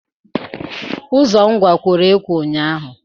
Ụzọ Ngwá, kworo ekwọ ụnyaahụ.